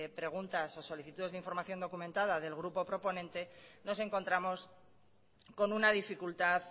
preguntas o solicitudes de información documentada del grupo proponente nos encontramos con una dificultad